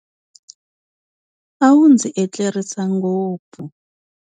A wu ndzi etlerisa ngopfu.